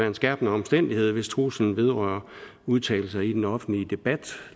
en skærpende omstændighed hvis truslen vedrører udtalelser i den offentlige debat